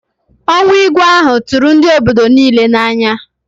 Ọnwụ Igwe ahụ tụrụ ndị obodo niile n'anya